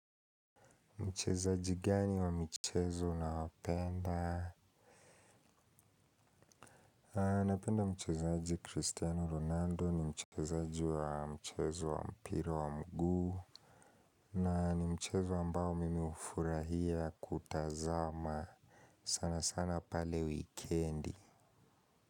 Mchezaji gani wa michezu naopenda? Napenda mchezaji Cristiano Ronaldo ni mchezaji wa mchezo wa mpira wa mguu. Na ni mchezo ambao mimi ufurahia kutazama sana sana pale wikendi.